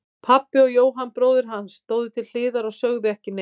Pabbi og Jóhann bróðir hans stóðu til hliðar og sögðu ekki neitt.